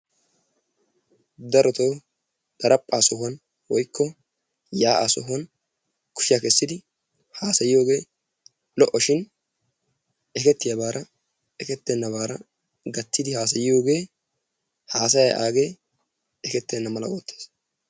Darotoo daraphphaa sohuwan woykko yaa'aa sohuwan kushiya kessidi haasayiyogee lo"o shin ekettiyaabaara ekkettennabaara gattidi haasayiyogee haasayaay aagee ekkettena mala oottees.